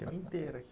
Tem uma inteira aqui.